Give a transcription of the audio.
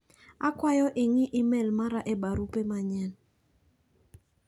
Akwayo ing'i imel mara e barupe manyien.